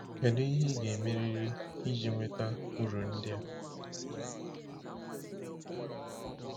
Kedu ihe ị ga-emerịrị iji nweta uru ndị a?